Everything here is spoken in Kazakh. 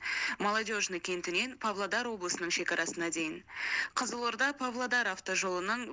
молодежный кентінен павлодар облысының шекарасына дейін қызылорда павлодар автожолының